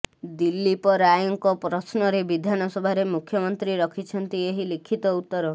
ଦିଲ୍ଲୀପରାୟଙ୍କ ପ୍ରଶ୍ନରେ ବିଧାନସଭାରେ ମୁଖ୍ୟମନ୍ତ୍ରୀ ରଖିଛନ୍ତି ଏହି ଲିଖିତ ଉତ୍ତର